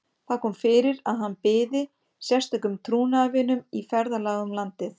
Það kom fyrir að hann byði sérstökum trúnaðarvinum í ferðalag um landið.